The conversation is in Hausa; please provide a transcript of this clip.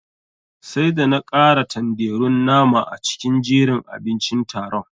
Sai da na kara tanderun nama a cikin jerin abincin taron.